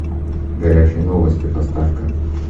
горячие новости поставь ка